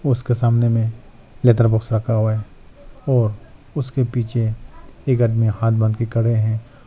उसका सामने में लेदर बॉक्स रखा हुआ है और उसके पीछे एक आदमी हाथ बांध के खड़े हैं।